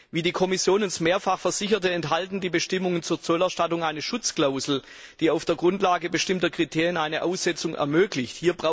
Wie die Kommission uns mehrfach versicherte, enthalten die Bestimmungen zur Zollerstattung eine Schutzklausel, die auf der Grundlage bestimmter Kriterien eine Aussetzung ermöglicht.